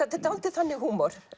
er dálítið þannig húmor